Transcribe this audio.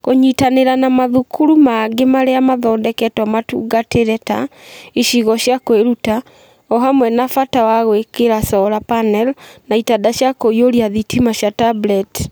Kũnyitanĩra na mathukuru mangĩ marĩa mathondeketwo matungatĩre ta "cicigo cia kwĩruta" o hamwe na bata wa gwĩkĩra solar panel na itanda cia kũiyũria thitima cia tablet.